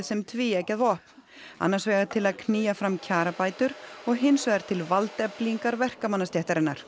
sem tvíeggjað vopn annars vegar til að knýja fram kjarabætur og hins vegar til valdeflingar